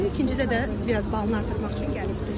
İkincidə də biraz balını artırmaq üçün gəlibdir.